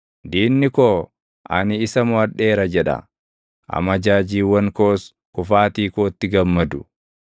diinni koo, “Ani isa moʼadheera” jedha; amajaajiiwwan koos kufaatii kootti gammadu.